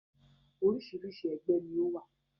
Oríṣiríṣi ẹgbẹ́ ni ó wà